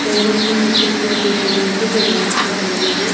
पैरों में सफेद जूते पहन के वो डांस कर रही है।